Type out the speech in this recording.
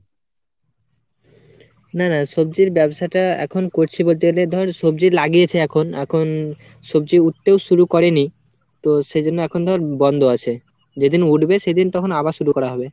না না সবজির ব্যাবসাটা এখন করছি বলতে গেলে ধর সবজি লিগিয়েছি এখন, এখন সবজি উঠতেও শুরু করে নি, তো সেইজন্যে এখন ধর বন্ধ আছে, যেদিন উঠবে সেদিন তখন আবার শুরু করা হবে।